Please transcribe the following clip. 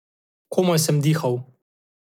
Komaj sem dihal.